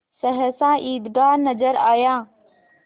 सहसा ईदगाह नजर आया